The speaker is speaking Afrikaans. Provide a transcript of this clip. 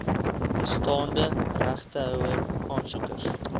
bestaande regtehouer aansoekers